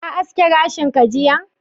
Ka aske gashinka jiya?